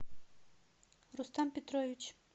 рустам петрович